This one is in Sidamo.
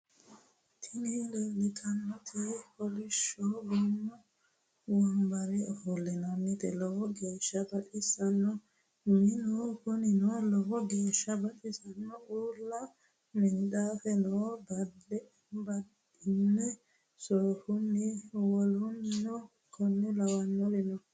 Tini leeltannoti kolishsho goommu wombare ofollate lowo geeshsa baxissannote. Minu kunino lowo geeshsa baxissanno. Uulla minxaafe no badhenni soofunna wolluno konne lawannori no.